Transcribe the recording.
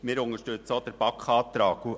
Wir unterstützen auch den BaK-Antrag.